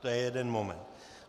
To je jeden moment.